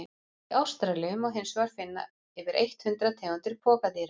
Í Ástralíu má hinsvegar finna yfir eitt hundrað tegundir pokadýra.